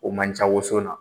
O man ca woson na